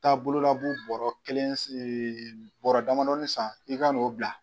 Taa bololabu bɔɔrɔ kelen bɔɔrɔ damadɔnin san i ka n'o bila.